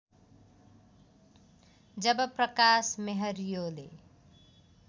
जब Prakash मेहरियोले